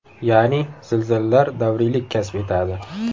Ya’ni, zilzilalar davriylik kasb etadi.